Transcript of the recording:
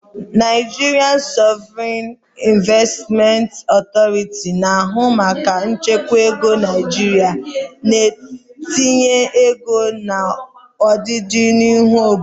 Nigerian Sovereign Investment Authority, na-ahụ maka nchekwa ego Naijiria na itinye ego na ọdịnihu obodo.